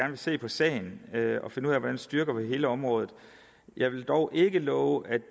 vil se på sagen og finde ud af hvordan vi styrker hele området jeg vil dog ikke love at det